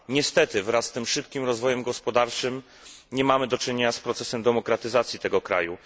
Niestety wraz z szybkim rozwojem gospodarczym nie mamy do czynienia z procesem demokratyzacji tego kraju.